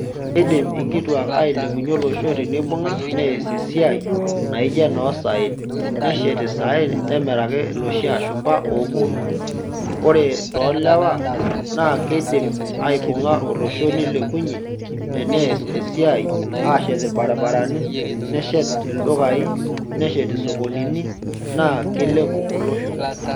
Idim inkituak ailepunye olosho teneibunga neas esiai naijo ena osaen neshet saen nemiraki loshi ashumba opuoni ore to lewa nakidimbaibunga olosho nilepunye teneas esiai ashet irbaribarani neshet ldukai, neshet isokonini na kilepuo olosho.